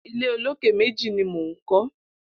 Ilé ólóké méji ni mó n kọ